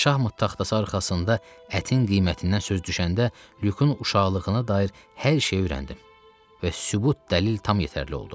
Şahmot taxtası arxasında ətin qiymətindən söz düşəndə Lükün uşaqlığına dair hər şeyi öyrəndim və sübut dəlil tam yetərli oldu.